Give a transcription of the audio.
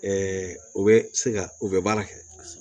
u bɛ se ka u bɛ baara kɛ